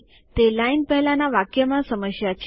તે લાઈન પહેલાના વાક્યમાં સમસ્યા છે